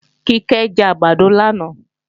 Kíkẹ́ jẹ àgbàdo lánàá